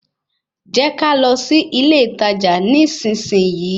Jẹ́ ká lọ sí ilé ìtajà nísinsìnyí